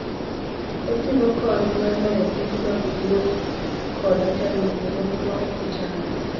Oting'o kony mar loyo pek mag wuoth koda chandruoge moko ma ok ochan.